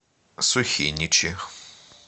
сухиничи